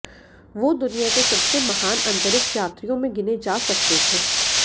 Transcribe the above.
वो दुनिया के सबसे महान अंतरिक्ष यात्रियों में गिने जा सकते थे